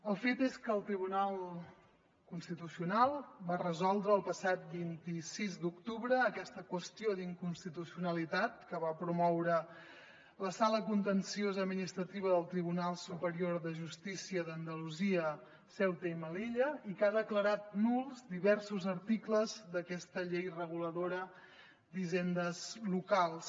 el fet és que el tribunal constitucional va resoldre el passat vint sis d’octubre aquesta qüestió d’inconstitucionalitat que va promoure la sala contenciosa administrativa del tribunal superior de justícia d’andalusia ceuta i melilla i que ha declarat nuls diversos articles d’aquesta llei reguladora d’hisendes locals